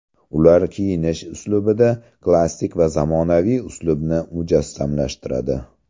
Ular kiyinish uslubida klassik va zamonaviy uslubni mujassamlashtiradi.